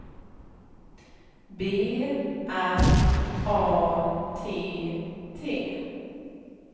B R A T T